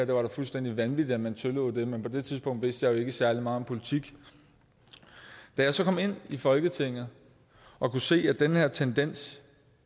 var da fuldstændig vanvittigt at man tillod det men på det tidspunkt vidste jeg jo ikke særlig meget om politik da jeg så kom ind i folketinget og kunne se at den her tendens